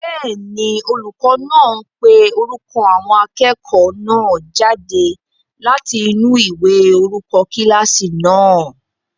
Bẹ́ẹ̀ni, olùkọ́ náà ń pe orúkọ àwọn akẹ́kọ̀ọ́ náà jáde láti inú ìwé orúkọ kílásì náà